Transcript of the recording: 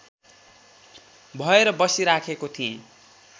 भएर बसिराखेको थिएँ